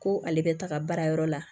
Ko ale bɛ taga baarayɔrɔ la